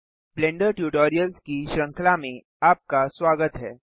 blender tutorials की श्रृंखला में आपका स्वागत है